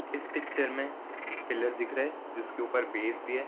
इस पिक्चर में एक पिलर दिख रहा है जिसके ऊपर बेस दिया है।